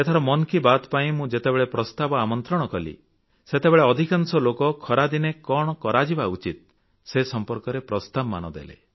ଏଥର ମନ୍ କି ବାତ୍ ପାଇଁ ମୁଁ ଯେତେବେଳେ ପ୍ରସ୍ତାବ ଆମନ୍ତ୍ରିତ କଲି ସେତେବେଳେ ଅଧିକାଂଶ ଲୋକ ଖରାଦିନେ କଣ କରାଯିବା ଉଚିତ ସେ ସମ୍ପର୍କରେ ପ୍ରସ୍ତାବମାନ ଦେଲେ